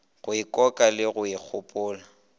go ikoka le go ikgopola